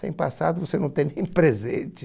Sem passado você não tem nem presente.